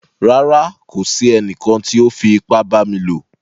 Rárá, kò sí ènìkàn tí o fí ìpà bá mi lọ.